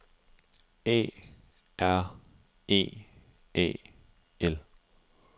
A R E A L